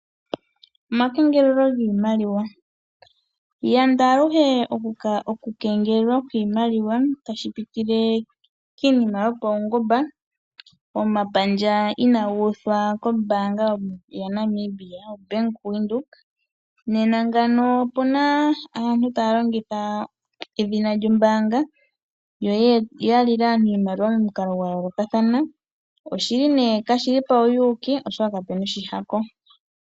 Omakengelelo giimaliwa Yanda aluhe okukengelelwa kwiimaliwa tashi pitile kiinima yopaungomba, omapandja inaaga uthwa kombaanga yaNamibia, Bank Windhoek. Nena ngawo opu na aantu taya longitha edhina lyombaanga yo ya lile aantu iimaliwa momukalo gwa yoolokathana. Kashi li pawuyuuki, oshoka kapu na oshihako.